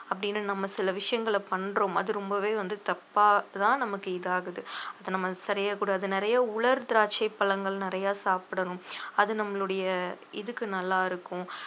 அப்படின்னு நம்ம சில விஷயங்கள பண்றோம் அது ரொம்பவே வந்து தப்பாதான் நமக்கு இது ஆகுது அதை நம்ம சரியா கூடாது நிறைய உலர் திராட்சை பழங்கள் நிறைய சாப்பிடணும் அது நம்மளுடைய இதுக்கு நல்லா இருக்கும்